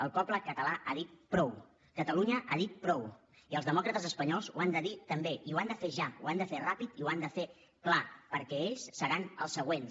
el poble català ha dit prou catalunya ha dit prou i els demòcrates espanyols ho han de dir també i ho han de fer ja ho han de fer ràpid i ho han de fer clar perquè ells seran els següents